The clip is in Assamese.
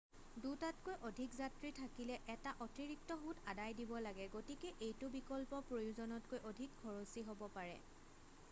2তাতকৈ অধিক যাত্ৰী থাকিলে এটা অতিৰিক্ত সূত আদায় দিব লাগে গতিকে এইটো বিকল্প প্ৰয়োজনতকৈ অধিক খৰচী হব পাৰে